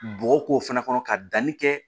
Bɔgɔ k'o fana kɔnɔ ka danni kɛ